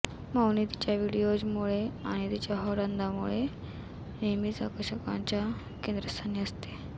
मौनी तिच्या व्हिडिओजमुळे आणि तिच्या हॉट अदांमुळे नेहमीच आकर्षणाच्या केंद्रस्थानी असते